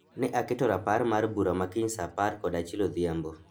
Ne aketo rapar mar bura ma kiny saa apar kod achiel odhiambo